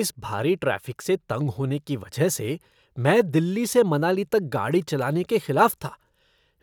इस भारी ट्रैफ़िक से तंग होने की वजह से मैं दिल्ली से मनाली तक गाड़ी चलाने के खिलाफ़ था,